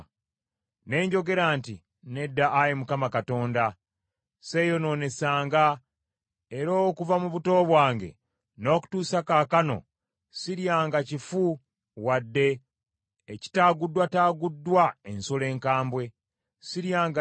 Ne njogera nti, “Nedda Ayi Mukama Katonda. Sseeyonoonesanga, era okuva mu buto bwange n’okutuusa kaakano siryanga kifu wadde ekitaaguddwataaguddwa ensolo enkambwe. Siryanga nnyama etali nnongoofu.”